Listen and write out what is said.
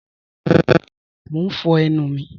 Mọ̀ n fọ̀ ẹnu mi